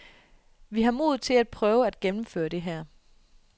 Vi har modet til at prøve at gennemføre det her.